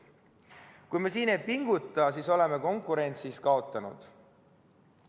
Kui me siin ei pinguta, siis oleme konkurentsis kaotanud.